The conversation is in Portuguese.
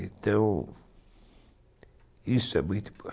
Então, isso é muito importante.